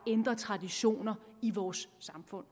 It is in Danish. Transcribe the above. at ændre traditioner i vores samfund